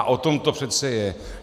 A o tom to přece je!